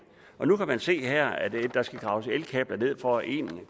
og nu kan man se her at der skal graves elkabler ned for en